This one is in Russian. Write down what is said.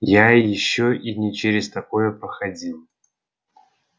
я ещё и не через такое проходил